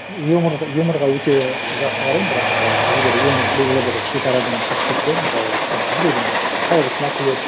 юморға өте жақсы қараймын бірақ ы егер юмор белгілі бір шекарадан шығып кетсе мысалы там біреудің қайғысына күледі